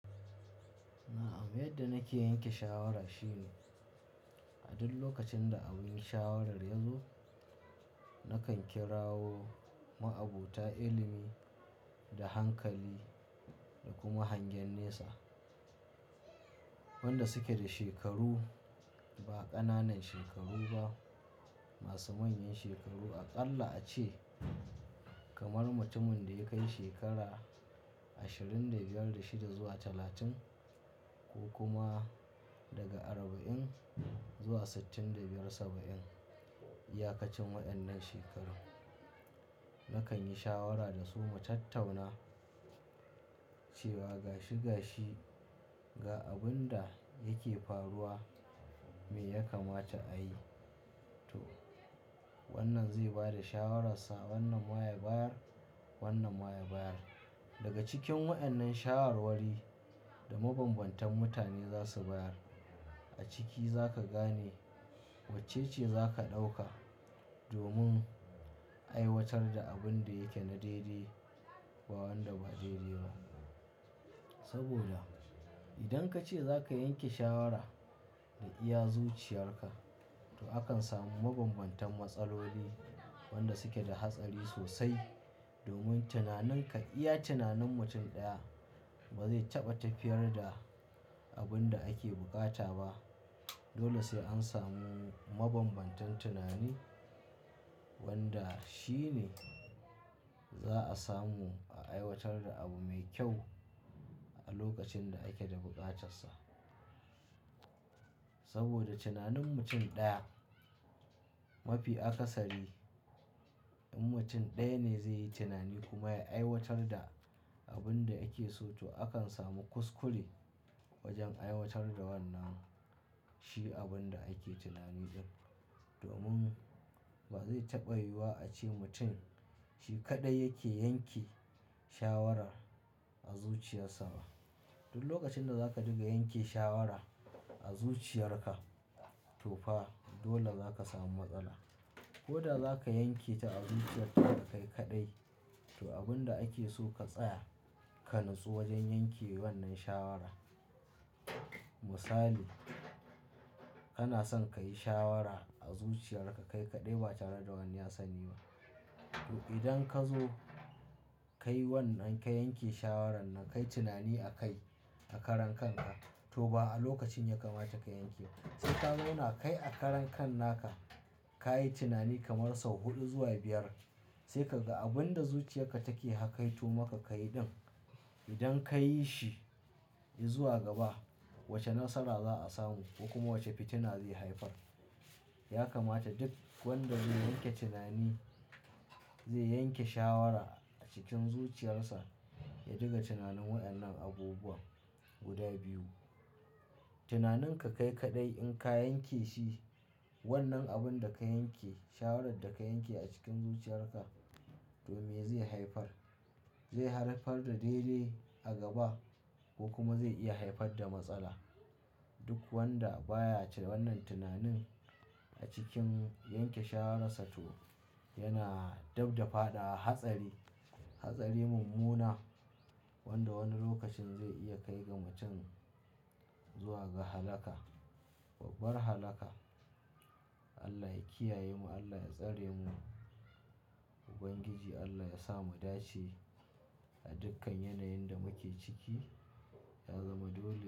Na'am, yadda nake yanke shawara shine a duk lokacin da abin shawarar ya zo, nakan kirawo ma'abota, ilimi da hankali da kuma hangen nesa. Wanda suke da shekaru ba ƙananan shekaru ba, masu manyan shekaru. Aƙalla ace kamar mutumin da ya kai shekara ashirin da biyar da shida zuwa talatin ko kuma daga arba'in zuwa sittin da biyar saba'in. Iyakacin waɗannan shekaru nakan yi shawara da su mu tattauna cewa gashi gashi ga abun da yake faruwa me ya kamata a yi to wannan zai bada shawarar sa. Wannan ma ya bayar, wannan ma ya bayar. Daga cikin waɗannan shawarwari da mabambantan mutane za su bayar a ciki za ka gane wacce ce za ka ɗauka domin a aiwatar da abun da yake na daidai ba wanda ba daidai ba. Saboda idan ka ce za ka yanke shawara da iya zuciyarka to akan samu mabambantan matsaloli wanda suke da hatsari sosai. Domin tunaninka iya tunanin mutum ɗaya ba zai taɓa tafiyar da abun da ake buƙata ba. Dole sai an samu mabambantan tunani wanda shi ne za a samu a aiwatar da abu mai kyau a lokacin da ake da buƙatarsa. Saboda tunanin mutum ɗaya mafi akasari in mutum ɗaya ne zai yi tunani kuma ya aiwatar da abun da yake so to akan samu kuskure wajen aiwatar da wannan shi abun da ake tunani ɗin. Domin ba zai taɓa yiwuwa a ce mutum shi kaɗai yake yanke shawara a zuciyarsa ba. Duk lokacin da za ka diga yanke shawara a zuciyarka to fa dole zaka samu matsala. Ko da zaka yanke ta a zuciyarka ka kai kaɗai to abun da ake so ka tsaya ka natsu wajen yanke wannan shawara. Misali, kana son ka yi shawara a zuciyarka kai kaɗai ba tare da wani ya sani ba. To idan ka zo kai wannan ka yanke shawaran nan, ka yi tunani a kai a karan kanka to ba a lokacin ya kamata ka yanke ba. Sai ka zauna kai a karan kan naka, ka yi tunani kamar sau huɗu zuwa biyar. Sai ka ga abin da zuciyarka take hakaito maka ka yi ɗin. Idan ka yi shi, yi zuwa gaba wace nasara za a samu ko kuma wace fitina zai haifar. Ya kamata duk wanda zai yanke tunani, zai yanke shawara a cikin zuciyarsa, ya diga tunanin waɗannan abubuwa guda biyu. Tunanin ka kai kaɗai in ka yanke shi. Wannan abun da ka yanke, shawarar da ka yanke a cikin zuciyarka to me zai haifar, zai haifar da daidai a gaba ko kuma zai iya haifar da matsala. Duk wanda baya cire wannan tunanin a cikin yanke shararsa to yana dabda faɗawa hatsari, hatsari mummuna wanda wani lokacin zai iya kai ga mutum zuwa ga halaka, babbar halaka. Allah ya kiyaye mu, Allah ya tsare mu. Ubangiji Allah ya sa mu dace a dukkan yanayin da muke ciki, ya zama dole.